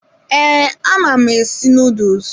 Ee, ama m esi nuduls.